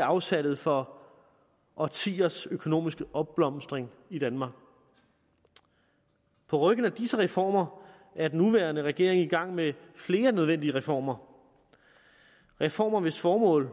afsættet for årtiers økonomisk opblomstring i danmark på ryggen af disse reformer er den nuværende regering i gang med flere nødvendige reformer reformer hvis formål